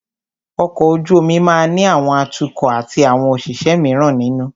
Ọkọ̀ ojú omi máà ní àwọn atukọ̀ atí àwọn òṣìṣẹ́ míràn nínú.